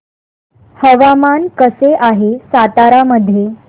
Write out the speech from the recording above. हवामान कसे आहे सातारा मध्ये